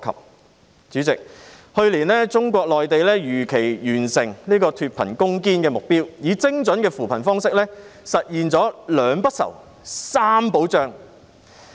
代理主席，去年中國內地如期完成脫貧攻堅的目標，以精準的扶貧方式，實現了"兩不愁、三保障"。